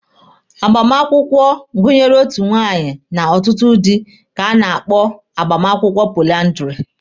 Agbamakwụkwọ gụnyere otu nwunye na ọtụtụ dị ka a na-akpọ agbamakwụkwọ poliandiri.